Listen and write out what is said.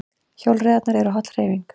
Hjólreiðar eru holl hreyfing